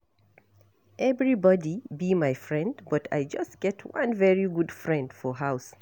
Everybody be my friend but I just get one very good friend for house